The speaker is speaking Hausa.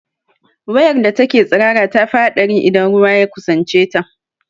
Wayar da take tsirara tafi haɗari idan ruwa ya kusance ta